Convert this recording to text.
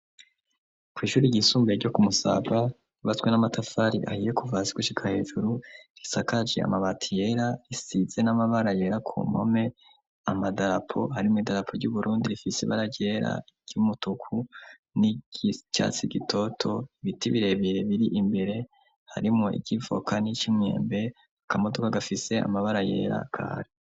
Kw'ishure ryisumbuye ryo kumusabwa ibaswe n'amatafari ahiye kuvasi gushika hejuru risakaje amabati yera isize n'amabara yera ku mome amadarapo harimo idarapo ry'uburundi rifise baragera ry'umutuku n'iicatsi gitoto ibiti birebire biri imbere harimo ikivoka n'ic'imwembe akamodoka gafise amabara yera kare.